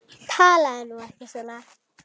Talaðu nú ekki svona!